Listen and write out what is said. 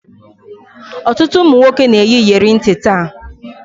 Ọtụtụ ụmụ nwoke na-eyi iyeri ntị taa